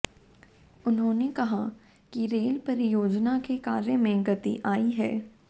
उन्होंने कहा कि रेल परियोजना के कार्य में गति आई है